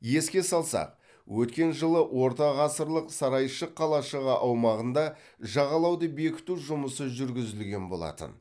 еске салсақ өткен жылы ортағасырлық сарайшық қалашығы аумағында жағалауды бекіту жұмысы жүргізілген болатын